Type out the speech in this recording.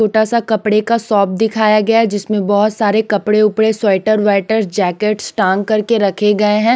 छोटा सा कपड़े का शॉप दिखाया गया है जिसमें बहुत सारे कपड़े-उपड़े स्वेटर वाइटर जैकेट्स टांग करके रखे गए हैं।